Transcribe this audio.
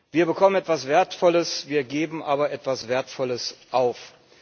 Wir bekommen etwas Wertvolles, wir geben aber etwas Wertvolles auf.